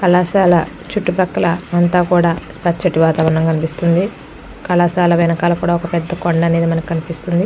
కళాశాల చుట్టుపక్కల అంత కూడా పచ్చటి వాతావరణం కనిపిస్తుంది. కళాశాల వెనక కూడా మనకి ఒక పెద్ద కొండా అనేది మనకి కనిపిస్తుంది .